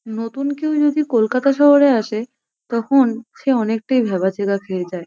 নতুন কেও যদি কলকাতা শহরে আসে তখন সে অনেকটায় ভ্যাবাচ্যাকা খেয়ে যায় ।